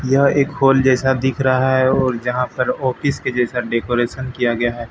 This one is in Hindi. यह एक हॉल जैसा दिख रहा है और यहां पर ऑफिस के जैसा डेकोरेशन किया गया है।